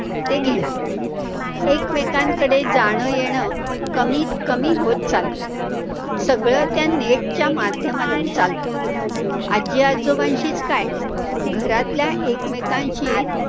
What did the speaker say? ते घेणार, एकमेकांकडे जाणं, येणं कमीत कमी होतं चाललंय, सगळं त्या net च्या माध्यमातून चालतं. आजी आजोबांशीच काय, घरातल्या एकमेकांशी